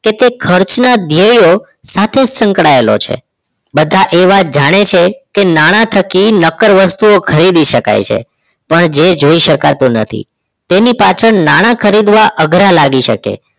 કે તે ખર્ચના ધ્યેયો સાથે સંકળાયેલો છે બધા એ વાત જાણે છે કે નાણાં થકી નકર વસ્તુઓ ખરીદી શકાય છે પણ જે જોઈ શકાતું નથી તેની પાછળ નાણાં ખરીદવા અઘરા લાગી શકે છે